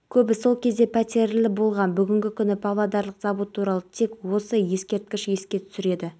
қылмыстарды ашу көрсеткіші пайызға жетті қала мен ауыл көшелеріндегі тұрғындардың қауіпсіздік деңгейі айтарлықтай артты онда